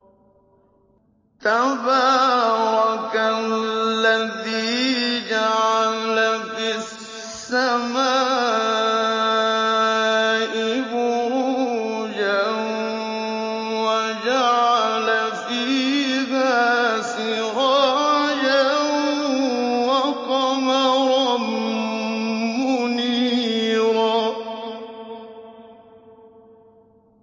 تَبَارَكَ الَّذِي جَعَلَ فِي السَّمَاءِ بُرُوجًا وَجَعَلَ فِيهَا سِرَاجًا وَقَمَرًا مُّنِيرًا